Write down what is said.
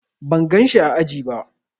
Ban gan shi ã aji ba.